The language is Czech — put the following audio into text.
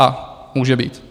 A může být.